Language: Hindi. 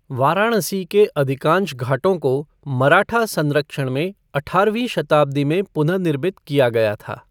वाराणसी के अधिकांश घाटों को मराठा संरक्षण में अठारहवीं शताब्दी में पुनर्निर्मित किया गया था।